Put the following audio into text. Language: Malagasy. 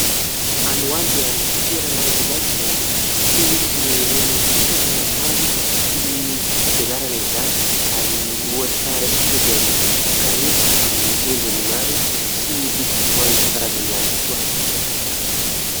Any ho any dia misy toerana iray izay fitehirizana ireny fitaovana maro toy ny fitaovam-pianarana izany; ary ohatra raisintsika dia ny kahie amin'ny endriny maro sy loko maro isankarazany ihany koa.